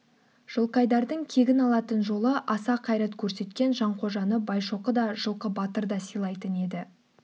жылқайдардың кегін алатын жолы аса қайрат көрсеткен жанқожаны байшоқы да жылқы батыр да сыйлайтын еді